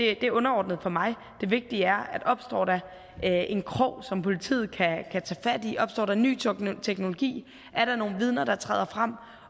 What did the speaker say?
er underordnet for mig det vigtige er at opstår der en krog som politiet kan tage fat i opstår der ny teknologi er der nogle vidner der træder frem